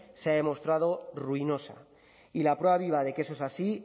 se ha demostrado ruinosa y la prueba viva de que eso es así